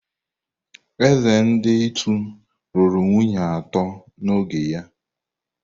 Eze ndi Ịtu lụrụ nwunye atọ n’oge ya.